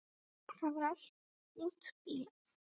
Það var allt útbíað.